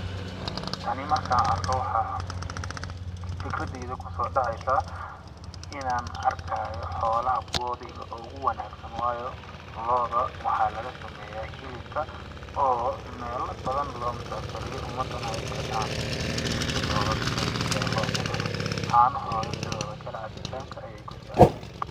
Tani markaan arko waxaa fikradeyda kusoo dhaceysaa ,inaan arkaayo xoolaha kuwoodi oogu wanaagsanaa waayo looda waxaa laga sameyaa hilibka oo meela badan loo musaafiriyo umadana ay gataan ,hilibka looda zaaid ayaa loo cunaa ,caanohooda sidoo da kale cabitaanka ayeey ku fiican yihiin.